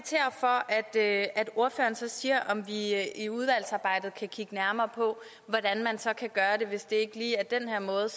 jeg vil at ordføreren så siger om vi i i udvalgsarbejdet kan kigge nærmere på hvordan man så kan gøre det hvis det ikke lige er den her måde